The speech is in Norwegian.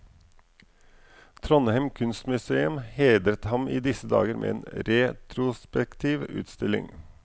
Trondheim kunstmuseum hedrer ham i disse dager med en retrospektiv utstilling.